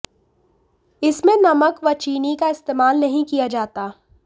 इसमें नमक वचीनी का इस्तेमाल नहीं किया जाता